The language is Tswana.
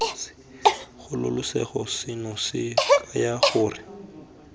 kgololosego seno se kaya gore